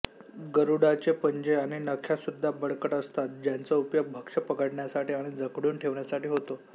गरुडाचे पंजे आणि नख्या सुद्धा बळकट असतात ज्यांचा उपयोग भक्ष्य पकडण्यासाठी आणि जखडून ठेवण्यासाठी होतो